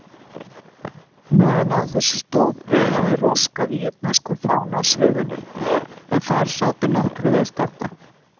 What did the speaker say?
Meðan á þessu stóð veifaði Róska víetnömskum fána á sviðinu, en þar sátu nokkrir viðstaddra.